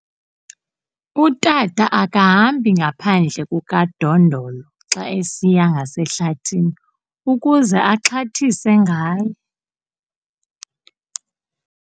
Utata akahambi ngaphandle kukadondolo xa esiya ngasehlathini ukuze axhathise ngaye.